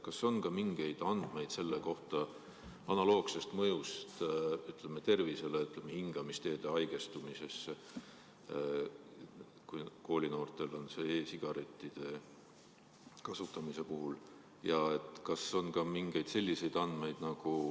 Kas on ka mingeid andmeid nende mõjust tervisele ja hingamisteede haigestumisele koolinoorte seas?